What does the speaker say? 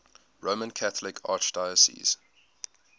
roman catholic archdiocese